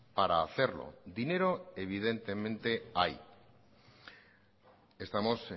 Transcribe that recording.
para hacerlo dinero evidentemente hay estamos